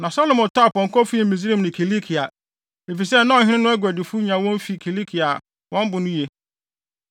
Na Salomo tɔɔ apɔnkɔ fii Misraim ne Kilikia, efisɛ na ɔhene no aguadifo nya wɔn fi Kilikia a wɔn bo no ye.